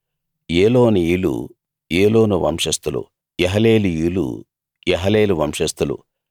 ఏలోనీయులు ఏలోను వంశస్థులు యహలేలీయులు యహలేలు వంశస్థులు